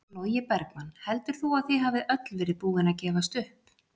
Logi Bergmann: Heldur þú að þið hafið öll verið búin að gefast upp?